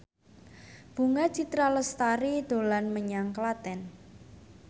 Bunga Citra Lestari dolan menyang Klaten